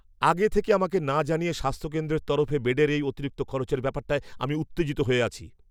আগে থেকে আমাকে না জানিয়ে স্বাস্থ্যকেন্দ্রের তরফে বেডের এই অতিরিক্ত খরচের ব্যাপারটায় আমি উত্তেজিত হয়ে আছি।